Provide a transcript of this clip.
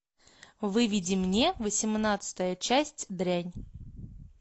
выведи мне восемнадцатая часть дрянь